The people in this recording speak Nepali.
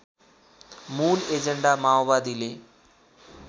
मूल एजेण्डा माओवादीले